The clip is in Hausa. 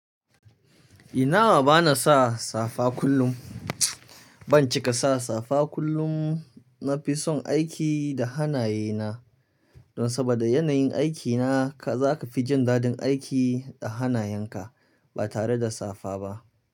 Ina wa bana sa safa kullum. Ban cika sa safa kullum, na fi son aiki da hannaye na. Don sabada yanayin aikina ka zaka fi jin daɗin aiki da hanayenka ba tare da safa ba.